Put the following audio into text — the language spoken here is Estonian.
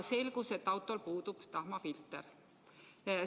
Selgus, et autol puudub tahmafilter.